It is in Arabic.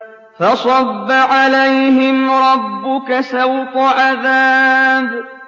فَصَبَّ عَلَيْهِمْ رَبُّكَ سَوْطَ عَذَابٍ